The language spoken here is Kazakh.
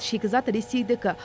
шикізат ресейдікі